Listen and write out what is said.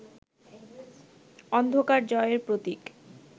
অন্ধকার জয়ের প্রতীক